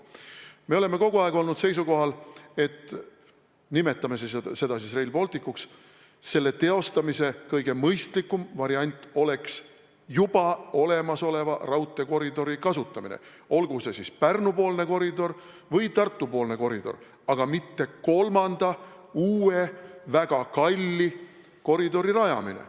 Me oleme kogu aeg olnud seisukohal, et – nimetame seda siis Rail Balticuks – selle teostamise kõige mõistlikum variant oleks juba olemasoleva raudteekoridori kasutamine, olgu see siis Pärnu-poolne koridor või Tartu-poolne koridor, aga mitte kolmanda, uue ja väga kalli koridori rajamine.